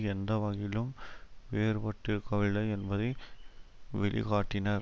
எந்த வகையிலும் வேறுபட்டிருக்கவில்லை என்பதை வெளிக்காட்டினர்